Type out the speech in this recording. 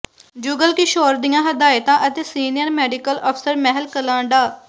ਜੁਗਲ ਕਿਸ਼ੋਰ ਦੀਆਂ ਹਦਾਇਤਾਂ ਅਤੇ ਸੀਨੀਅਰ ਮੈਡੀਕਲ ਅਫ਼ਸਰ ਮਹਿਲ ਕਲਾਂ ਡਾ